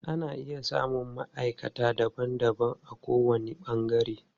Ana iya samun maʼaikata daban daban a ko wani ɓangare.